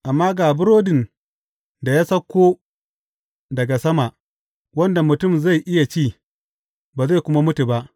Amma ga burodin da ya sauko daga sama, wanda mutum zai iya ci, ba zai kuma mutu ba.